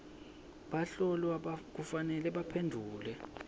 bahlolwa kufanele baphendvule